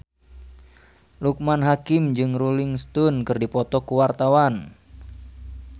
Loekman Hakim jeung Rolling Stone keur dipoto ku wartawan